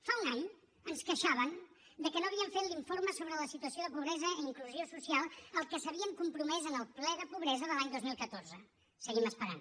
fa un any ens queixàvem de que no havien fet l’informe sobre la situació de pobresa i inclusió social al que s’havien compromès en el ple de pobresa de l’any dos mil catorze seguim esperant